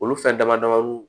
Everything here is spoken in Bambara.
Olu fɛn dama dama nu